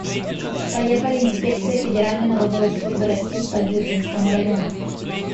поехали инспекция федеральной налоговой службы россии по дзержинскому району